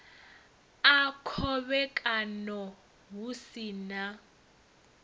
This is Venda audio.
a khovhekano hu si na